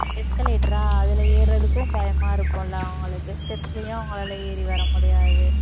escalator ஆ அதுல ஏர்றதுக்கும் பயமா இருக்கும் இல்லை, அவங்களுக்கு steps லையும் அவங்களால ஏறி வர முடியாது.